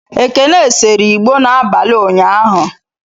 Ekene seree igbo n'abalị ụnyaahụ.